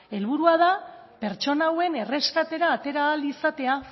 helburua da pertsona hauen erreskatera atera ahal izatea